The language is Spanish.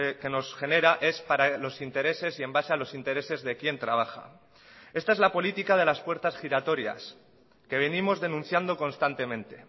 que nos genera es para los intereses y en base a los intereses de quién trabaja esta es la política de las puertas giratorias que venimos denunciando constantemente